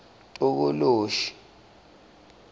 tokoloshi